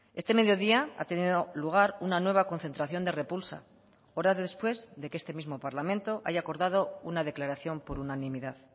este mediodía ha tenido lugar una nueva concentración de repulsa horas después de que este mismo parlamento haya acordado una declaración por unanimidad